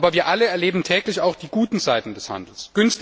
Wir alle erleben aber täglich auch die guten Seiten des Handels.